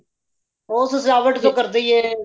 ਉਹ ਸਜਾਵਟ ਤੇ ਕਰਦੇ ਹੀ ਏ